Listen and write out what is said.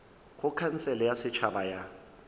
go khansele ya setšhaba ya